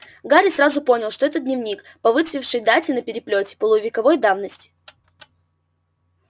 гарри сразу понял что это дневник по выцветшей дате на переплёте полувековой давности